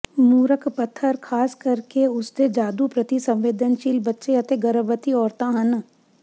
ਮੂਰਖ ਪੱਥਰ ਖ਼ਾਸ ਕਰਕੇ ਉਸਦੇ ਜਾਦੂ ਪ੍ਰਤੀ ਸੰਵੇਦਨਸ਼ੀਲ ਬੱਚੇ ਅਤੇ ਗਰਭਵਤੀ ਔਰਤਾਂ ਹਨ